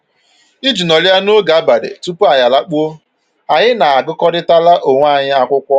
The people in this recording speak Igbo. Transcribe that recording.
Iji nọrịa n'oge abalị tupu anyị alakpuo, anyị na-agụkọrịtara onwe anyị akwụkwọ